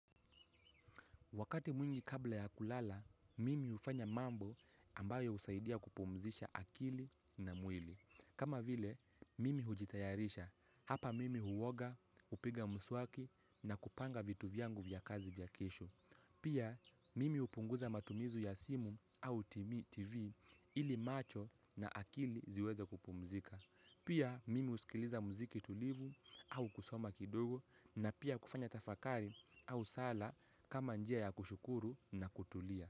Wakati mwingi kabla ya kulala, mimi hufanya mambo ambayo husaidia kupumzisha akili na mwili. Kama vile, mimi hujitayarisha, hapa mimi huoga, hupiga mswaki na kupanga vitu vyangu vya kazi vya kesho. Pia, mimi hupunguza matumizi ya simu au TV ili macho na akili ziweze kupumzika. Pia mimi husikiliza mziki tulivu au kusoma kidogo na pia kufanya tafakari au sala kama njia ya kushukuru na kutulia.